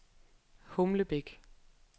Humlebæk